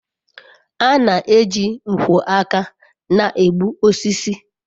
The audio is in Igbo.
a na-eji nkwo aka na-egbu osisi